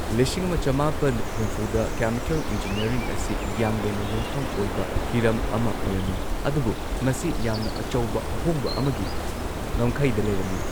ꯂꯤꯁꯤꯡ ꯑꯃ ꯆꯃꯥꯄꯟ ꯍꯨꯝꯐꯨꯗ ꯀꯦꯃꯤꯀꯦꯜ ꯏꯟꯖꯤꯅꯤꯌꯔꯤꯡ ꯑꯁꯤ ꯌꯥꯡꯌꯦꯟꯅ ꯌꯨꯝꯐꯝ ꯑꯣꯏꯕ ꯍꯤꯔꯝ ꯑꯃ ꯑꯣꯏꯔꯝꯃꯤ, ꯑꯗꯨꯕꯨ ꯃꯁꯤ ꯌꯥꯝꯅ ꯑꯆꯧꯕ ꯑꯍꯣꯡꯕ ꯑꯃꯒꯤ ꯉꯝꯈꯩꯗ ꯂꯩꯔꯝꯃꯤ꯫